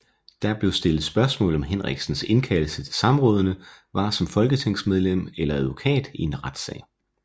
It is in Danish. Der blev stillet spørgsmål om Henriksens indkaldelse til samrådene var som folketingsmedlem eller advokat i en retssag